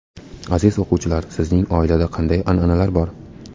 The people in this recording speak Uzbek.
Aziz o‘quvchilar, sizning oilada qanday an’analar bor?